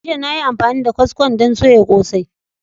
Jiya na yi amfani da kwaskon don soya kosai.